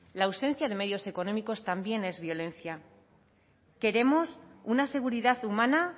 la ausencia de medios económicos también es violencia queremos una seguridad humana